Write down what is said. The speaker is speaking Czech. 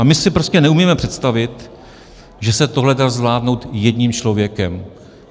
A my si prostě neumíme představit, že tohle se dá zvládnout jedním člověkem.